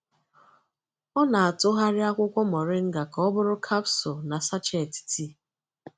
Ọ na-atụgharị akwụkwọ moringa ka ọ bụrụ capsules na sachets tii.